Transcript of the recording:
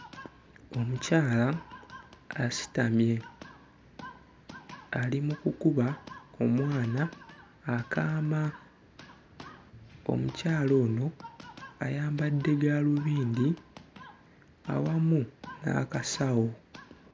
Omukyala asitamye ali mu kukuba omwana akaama. Omukyala ono ayambadde gaalubindi awamu n'akasawo.